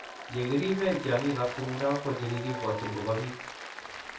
ye kiriben tiangik ab tumdo ko chikikibwatchin kobo bik